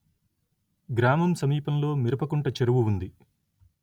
గ్రామం సమీపంలో మిరపకుంట చెరువు ఉంది